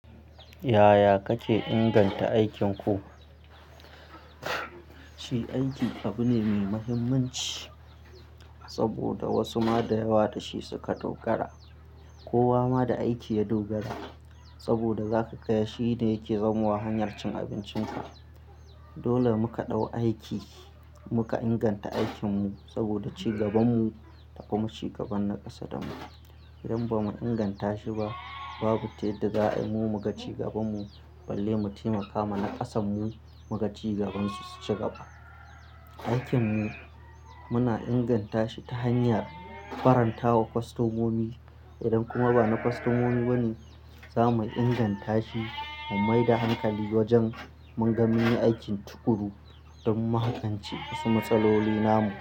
Yaya kake inganta aikinku? Shi aiki abu ne mai mahimmanci saboda wasu ma da yawa da shi suka dogara. Kowa ma da aiki ya dogara saboda za ka gaya shi ne yake zamowa hanyar cin abincinka. Dole muka ɗau aiki muka inganta aikinmu saboda cigabanmu tafi mu cigaban na ƙasa damu. Idan ba mu inganta shi ba, babu ta yadda za mu magance gabanmu balle mu taimaka wa na ƙasanmu mugaci gabansu cigaba. Aikinmu muna inganta shi ta hanyar faranta wa kostomomi. Idan kuma ba na kostomomi bane, za mu inganta shi mu maida hankali wajen munga mun yi aikin tuƙuru don magance wasu matsaloli namu.